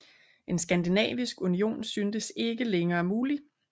En skandinavisk union syntes ikke længere mulig